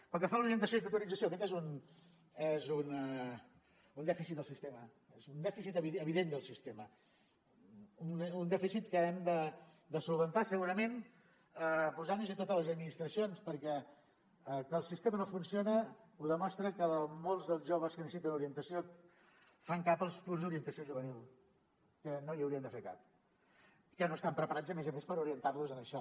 pel que fa a l’orientació i tutorització aquest és un dèficit del sistema és un dèficit evident del sistema un dèficit que hem de resoldre segurament posant nos hi totes les administracions perquè que el sistema no funciona ho demostra que molts dels joves que necessiten orientació fan cap als punts d’orientació juvenil que no hi haurien de fer cap que no estan preparats a més a més per orientar los en això